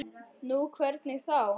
Nú, hvernig þá?